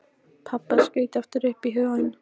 Pabba skaut aftur upp í hugann.